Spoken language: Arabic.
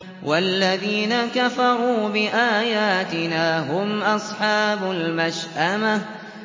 وَالَّذِينَ كَفَرُوا بِآيَاتِنَا هُمْ أَصْحَابُ الْمَشْأَمَةِ